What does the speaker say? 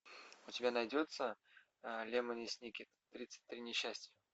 у тебя найдется лемони сникет тридцать три несчастья